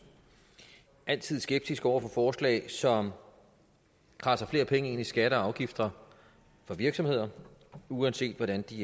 altid skeptiske over for forslag som kradser flere penge ind i skatter og afgifter fra virksomheder uanset hvordan de